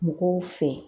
Mɔgɔw fɛ